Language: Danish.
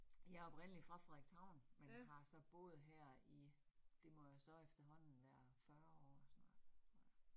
Jeg oprindelig fra Frederikshavn, men har så boet her i, det må jo så efterhånden være 40 år snart tror jeg